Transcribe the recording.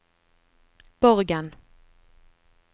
Borgen